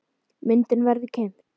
Myndin verður keypt.